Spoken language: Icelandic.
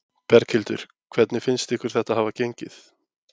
Berghildur: Hvernig finnst ykkur þetta hafa gengið?